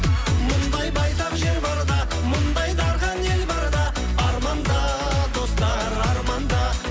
мұндай байтақ жер барда мұндай дархан ел барда арманда достар арманда